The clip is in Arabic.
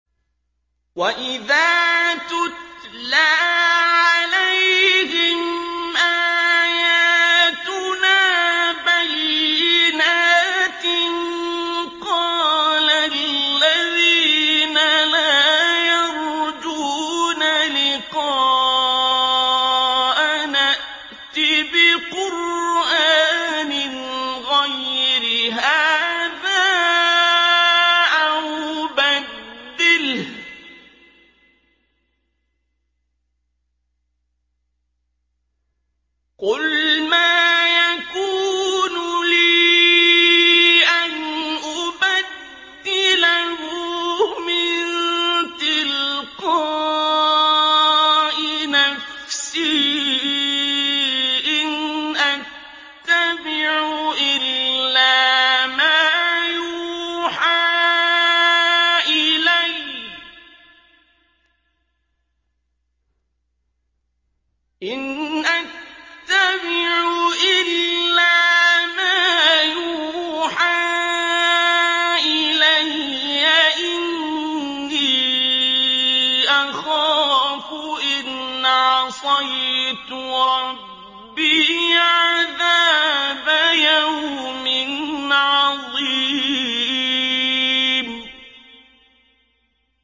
وَإِذَا تُتْلَىٰ عَلَيْهِمْ آيَاتُنَا بَيِّنَاتٍ ۙ قَالَ الَّذِينَ لَا يَرْجُونَ لِقَاءَنَا ائْتِ بِقُرْآنٍ غَيْرِ هَٰذَا أَوْ بَدِّلْهُ ۚ قُلْ مَا يَكُونُ لِي أَنْ أُبَدِّلَهُ مِن تِلْقَاءِ نَفْسِي ۖ إِنْ أَتَّبِعُ إِلَّا مَا يُوحَىٰ إِلَيَّ ۖ إِنِّي أَخَافُ إِنْ عَصَيْتُ رَبِّي عَذَابَ يَوْمٍ عَظِيمٍ